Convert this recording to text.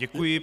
Děkuji.